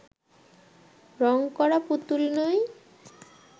রং করা পুতুল নই